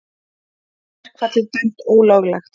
Verkfallið dæmt ólöglegt